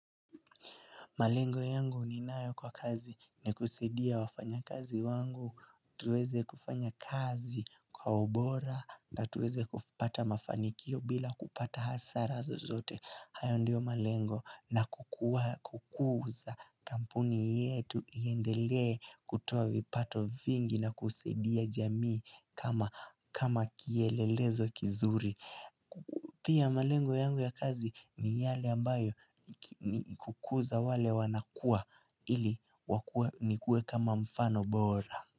Malengo yangu ni nayo kwa kazi ni kusaidia wafanya kazi wangu, tuweze kufanya kazi kwa ubora na tuweze kupata mafanikio bila kupata hasara zo zote. Hayo ndio malengo na kukuza kampuni yetu iendele kutoa vipato vingi na kusadia jamii kama kielelezo kizuri. Pia malengo yangu ya kazi ni yale ambayo kukuza wale wanakua ili nikue kama mfano bora.